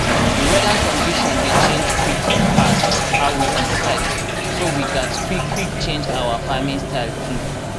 the weather condition dey change quick pass how we expect so we gats quick quick change our farming style too.